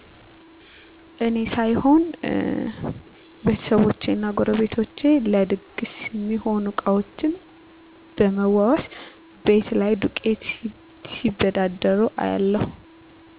እኔ ሳይሆን ቤተሰቦቸ እና ጎረቤቶቸ ለድግስ ሚሆኑ እቃዎችን ብመዋዋስ፣ ቤት ላይ ዱቄት ሲበዳደሩ እያለሁ።